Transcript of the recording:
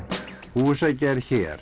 húsagerð hér